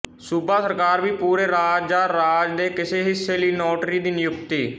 ਸੂਬਾ ਸਰਕਾਰ ਵੀ ਪੂਰੇ ਰਾਜ ਜਾਂ ਰਾਜ ਦੇ ਕਿਸੇ ਹਿੱਸੇ ਲਈ ਨੋਟਰੀ ਦੀ ਨਿਯੁਕਤੀ